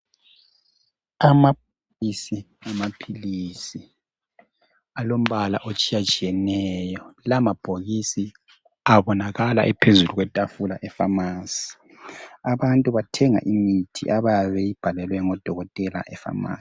Amabhokisi amaphilisi alombala otshiyatshiyeneyo. Lawa mabhokisi abonakala ephezulu kwetafula efamasi. Abantu bathenga imithi abayabe beyibhalelwe ngodokotela efamasi.